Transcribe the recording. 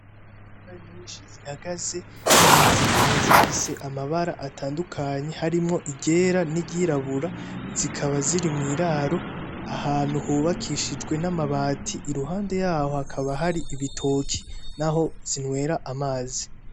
Inka nyishi zihagaze zikaba zifise amabara atandukanye harimwo iryera n'iryirabura zikaba ziri mu iraro ahantu hubakishijwe n'amabati iruhande yaho hakaba hari ibitoki n'aho zinwera amazi.